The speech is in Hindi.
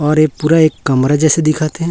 और एक पूरा एक कमरा जैसे दिखत हैं।